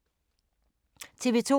TV 2